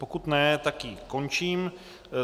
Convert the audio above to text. Pokud ne, tak ji končím.